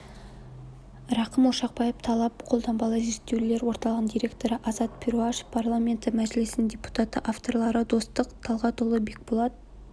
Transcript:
рақым ошақбаев талап қолданбалы зерттеулер орталығының директоры азат перуашев парламенті мәжілісінің депутаты авторлары достық талғатұлы бекболат